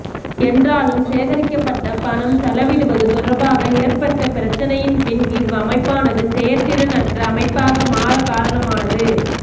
என்றாலும் சேகரிக்கப்பட்ட பணம் செலவிடுவது தொடர்பாக ஏற்பட்ட பிரச்சினையின் பின் இவ் அமைப்பானது செயற்திறன் அற்ற அமைப்பாக மாற காரணமானது